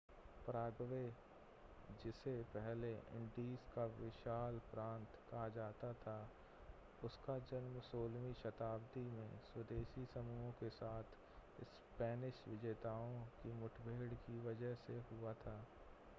Paraguay जिसे पहले Indies का विशाल प्रांत कहा जाता था उसका जन्म 16वीं शताब्दी में स्वदेशी समूहों के साथ स्पेनिश विजेताओं की मुठभेड़ की वजह से हुआ था